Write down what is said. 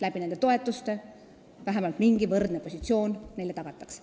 Toetuste abil neile vähemalt mingi võrdne positsioon tagatakse.